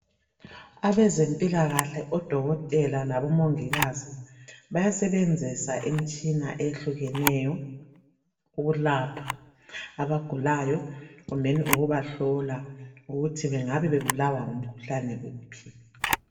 Abezempilakahle odokotela labomongikazi bayasebenzisa imitshina ehlukeneyo ukulapha abagulayo kumbeni ukubahlola ukuthi bengabe bebulawa ngumkhuhlane wuphi